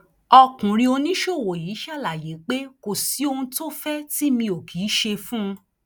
ọkùnrin oníṣòwò yìí ṣàlàyé pé kò sí ohun tó fẹ tì mí ò kì í ṣe fún un